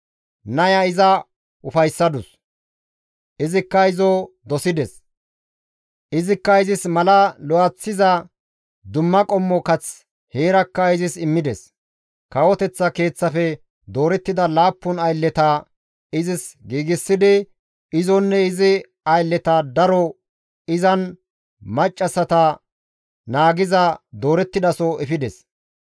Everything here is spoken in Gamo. Naya iza ufayssadus; izikka izo dosides; izikka izis mala lo7eththiza dumma qommo kath heerakka izis immides. Kawoteththa keeththafe doorettida laappun aylleta izis giigsidi izonne izi aylleta daro izan maccassata naagiza doorettidaso efides.